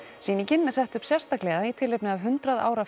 sýningin er sett upp sérstaklega í tilefni af hundrað ára